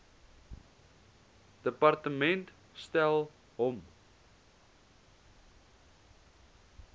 departement stel hom